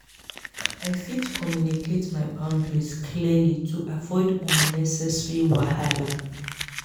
i fit communicate my boundaries clearly to avoid unnecessary wahala.